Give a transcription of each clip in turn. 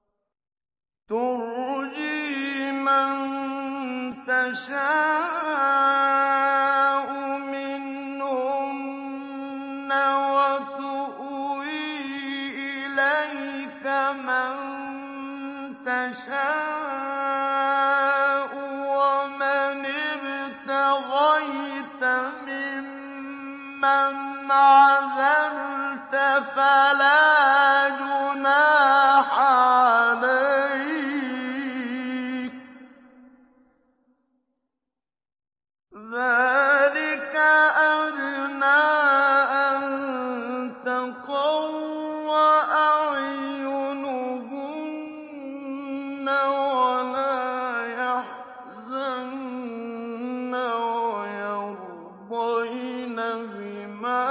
۞ تُرْجِي مَن تَشَاءُ مِنْهُنَّ وَتُؤْوِي إِلَيْكَ مَن تَشَاءُ ۖ وَمَنِ ابْتَغَيْتَ مِمَّنْ عَزَلْتَ فَلَا جُنَاحَ عَلَيْكَ ۚ ذَٰلِكَ أَدْنَىٰ أَن تَقَرَّ أَعْيُنُهُنَّ وَلَا يَحْزَنَّ وَيَرْضَيْنَ بِمَا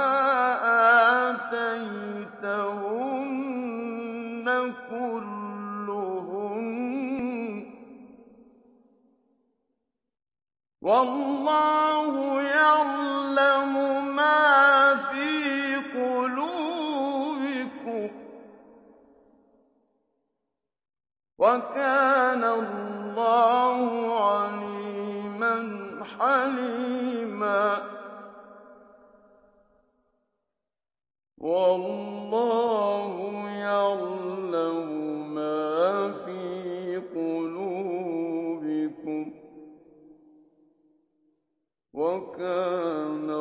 آتَيْتَهُنَّ كُلُّهُنَّ ۚ وَاللَّهُ يَعْلَمُ مَا فِي قُلُوبِكُمْ ۚ وَكَانَ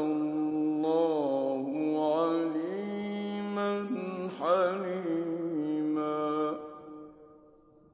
اللَّهُ عَلِيمًا حَلِيمًا